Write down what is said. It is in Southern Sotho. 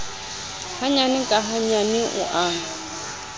hanyane ka hanyane o a